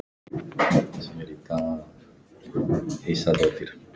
Að óttast!